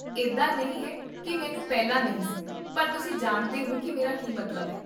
ਇੱਦਾਂ ਨਹੀਂ ਹੈ ਕੀ ਮੈਨੂੰ ਪਹਿਲਾਂ ਨਹੀਂ ਸੀ, ਪਰ ਤੁਸੀਂ ਜਾਣਦੇ ਹੋ ਕੀ ਮੇਰਾ ਕੀ ਮਤਲਬ ਹੈ